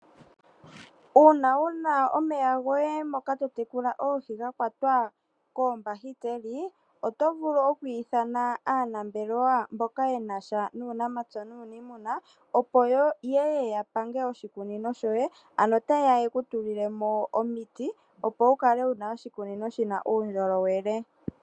Uuna wuna omeya goye moka totekula oohi gakwata koombahiteli, oto vulu okwiithana aanambelewa mboka yenasha nuunamapya nuunimuna opo yeye ya pange oshikunino shoye. Ano ota yeya yekutulile mo omiti opo wukale wuna oshikunino shina uundjolowele.